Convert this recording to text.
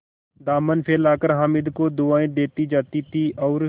दामन फैलाकर हामिद को दुआएँ देती जाती थी और